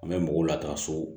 An bɛ mɔgɔw latanso